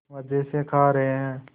मज़े से खा रहे हैं